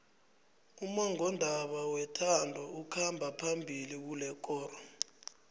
ummongondaba wethando okhamba phambili kulekoro